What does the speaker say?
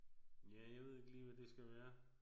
Ja jeg ved ikke lige hvad det skal være